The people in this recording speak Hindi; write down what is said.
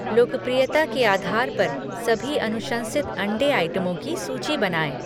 लोकप्रियता के आधार पर सभी अनुशंसित अंडे आइटमों की सूची बनाएँ